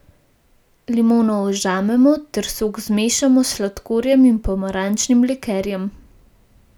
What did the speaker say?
Limono ožmemo ter sok zmešamo s sladkorjem in pomarančnim likerjem.